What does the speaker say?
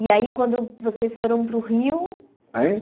E aí, quando vocês foram para o Rio... Hã?